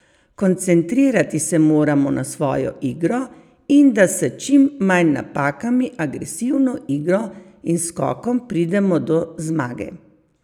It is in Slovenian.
Koncentrirati se moramo na svojo igro in, da s čim manj napakami, agresivno igro in skokom pridemo do zmage.